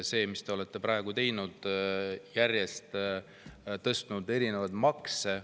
Seda, mida te olete praegu teinud: järjest tõstnud erinevaid makse.